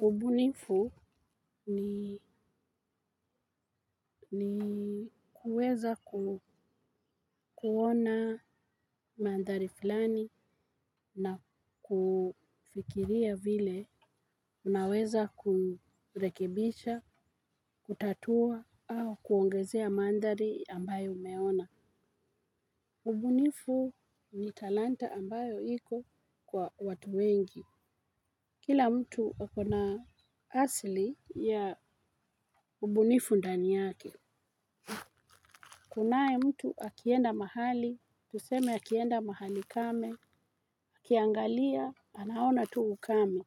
Ubunifu ni kuwezaku kuona mandhari fulani na kufikiria vile unaweza kurekebisha, kutatua au kuongezea mandhari ambayo umeona. Ubunifu ni talanta ambayo iko kwa watu wengi. Kila mtu akona asili ya ubunifu ndani yake. Kunae mtu akienda mahali, tuseme akienda mahali kame, ukiangalia, anaona tu ukame.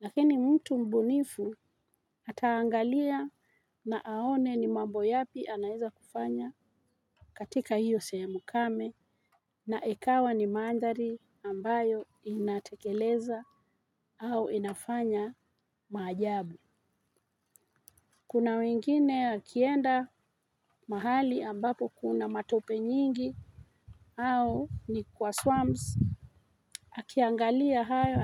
Lakini mtu mbunifu ataangalia na aone ni mambo yapi anaeza kufanya katika hiyo sehemu kame na ikawa ni mandhari ambayo inatekeleza au inafanya maajabu. Kuna wengine wakienda mahali ambapo kuna matope nyingi au ni kwa swamps akiangalia hayo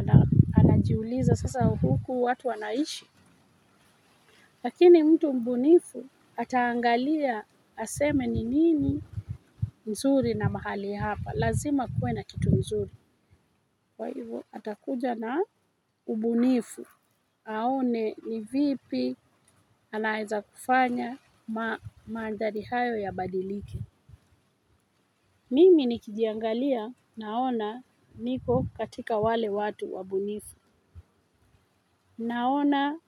anajiuliza sasa huku watu wanaishi lakini mtu mbunifu ataangalia aseme ni nini mzuri na mahali hapa lazima kuwe na kitu mzuri kwa hivo atakuja na ubunifu aone ni vipi anaeza kufanya. Mandhari hayo ya badilike. Mimi nikijiangalia naona niko katika wale watu wabunifu. Naona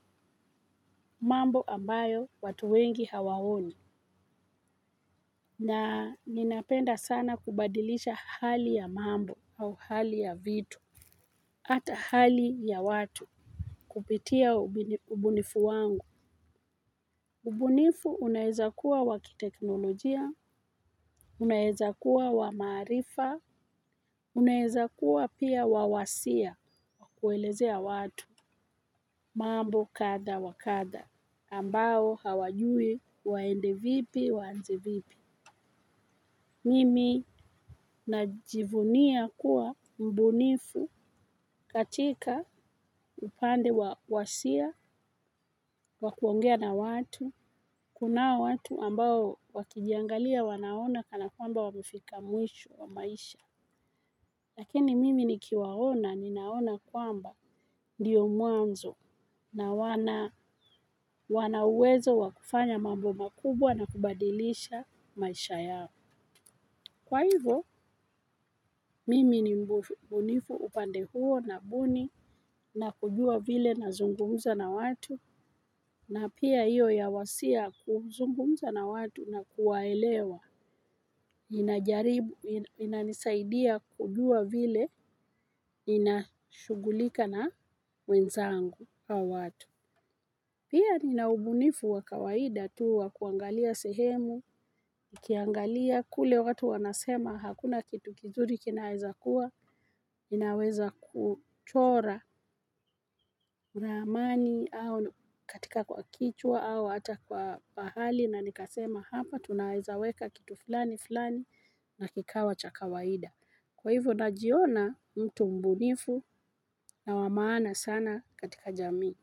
mambo ambayo watu wengi hawaoni. Na ninapenda sana kubadilisha hali ya mambo au hali ya vitu ata hali ya watu kupitia ubunifu wangu. Ubunifu unaweza kuwa wakiteknolojia. Unaweza kuwa wa maarifa. Unaweza kuwa pia wa wasia kuelezea watu mambo kadha wa kadha ambao hawajui waende vipi waanze vipi. Mimi najivunia kuwa mbunifu katika upande wa wasia wakuongea na watu. Kunao watu ambao wakijiangalia wanaona kana kwamba wamefika mwisho wa maisha. Lakini mimi nikiwaona ninaona kwamba ndiyo mwanzo na wanauwezo wa kufanya mambo makubwa na kubadilisha maisha yao. Kwa hivo mimi ni mbunifu upande huo nabuni na kujua vile nazungumza na watu na pia hiyo ya wasia kuzungumza na watu na kuwaelewa. Inanisaidia kujua vile inashughulika na wenzangu au watu. Pia nina ubunifu wa kawaida tu wa kuangalia sehemu. Nikiangalia kule watu wanasema hakuna kitu kizuri kinaweza kuwa inaweza kuchora ramani au katika kwa kichwa au hata kwa pahali. Na nikasema hapa tunaweza weka kitu fulani fulani na kikawa cha kawaida. Kwa hivyo najiona mtu mbunifu na wabmaana sana katika jami.